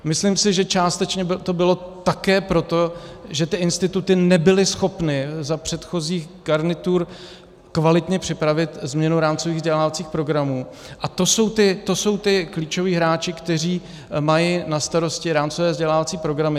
Myslím si, že částečně to bylo také proto, že ty instituty nebyly schopny za předchozích garnitur kvalitně připravit změnu rámcových vzdělávacích programů, a to jsou ti klíčoví hráči, kteří mají na starosti rámcové vzdělávací programy.